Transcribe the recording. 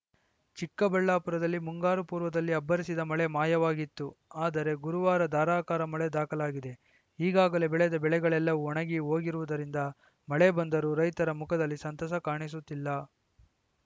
ಚಿಕ್ಕಬಳ್ಳಾಪುರದಲ್ಲಿ ಮುಂಗಾರು ಪೂರ್ವದಲ್ಲಿ ಅಬ್ಬರಿಸಿದ ಮಳೆ ಮಾಯವಾಗಿತ್ತು ಆದರೆ ಗುರುವಾರ ಧಾರಾಕಾರ ಮಳೆ ದಾಖಲಾಗಿದೆ ಈಗಾಗಲೇ ಬೆಳೆದ ಬೆಳೆಗಳೆಲ್ಲವೂ ಒಣಗಿ ಹೋಗಿರುವುದರಿಂದ ಮಳೆ ಬಂದರೂ ರೈತರ ಮುಖದಲ್ಲಿ ಸಂತಸ ಕಾಣಿಸುತ್ತಿಲ್ಲ